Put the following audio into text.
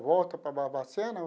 Volta para Barbacena?